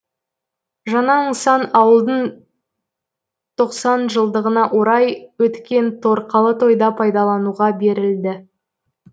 жаңа нысан ауылдың тоқсан жылдығына орай өткен торқалы тойда пайдалануға берілді